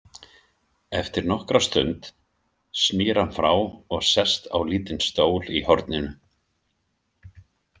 Eftir nokkra stund snýr hann frá og sest á lítinn stól í horninu.